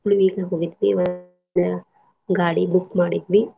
ಉಳ್ವಿಗ್ ಹೋಗಿದ್ವಿಮತ್ತ್ ಗಾಡಿ book ಮಾಡಿದ್ವಿ.